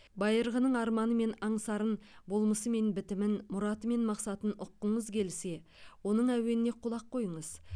байырғының арманы мен аңсарын болмысы мен бітімін мұраты мен мақсатын ұққыңыз келсе оның әуеніне құлақ қойыңыз